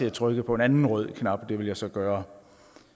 at trykke på en anden rød knap det vil jeg så gøre